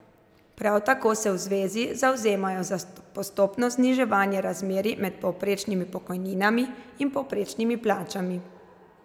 Prav tako se v zvezi zavzemajo za postopno zniževanje razmerij med povprečnimi pokojninami in povprečnimi plačami.